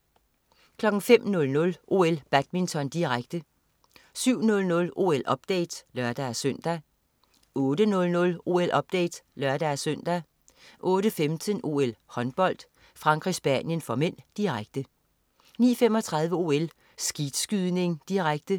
05.00 OL: Badminton, direkte 07.00 OL-update (lør-søn) 08.00 OL-update (lør-søn) 08.15 OL: Håndbold. Frankrig-Spanien (m), direkte 09.35 OL: Skeetskydning, direkte